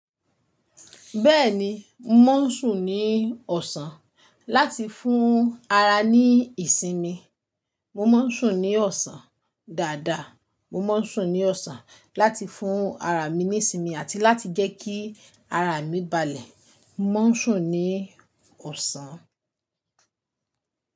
Bẹ́ẹ̀ni, mò ń sùn ní ọ̀sán láti fún ara ní ìsinmi. Mò ń sùn ní ọ̀sán dáadáa. Mò ń sùn ní ọ̀sán láti fún ara mi ní ìsinmi àti láti jẹ́ kí ara mi balẹ̀. Mò ń sùn ní ọ̀sán.